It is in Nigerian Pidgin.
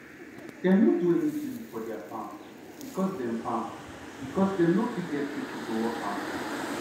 dem nor do anytin for deir farm becos dem farm becos dem nor fit get pipo to work am